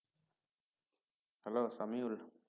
hello Samiul